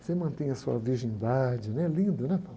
Você mantém a sua virgindade, né? Lindo, né?